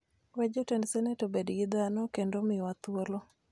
we jotend senet obed gi dhano kendo omiwa thuolo